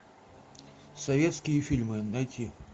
советские фильмы найти